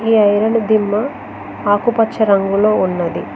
ఇది ఐరన్ దిమ్మ ఆకుపచ్చ రంగులో ఉన్నది.